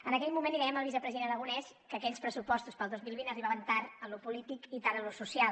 en aquell moment li dèiem al vicepresident aragonès que aquells pressupostos per al dos mil vint arribaven tard en lo polític i tard en lo social